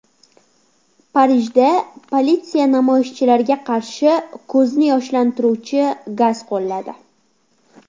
Parijda politsiya namoyishchilarga qarshi ko‘zni yoshlantiruvchi gaz qo‘lladi.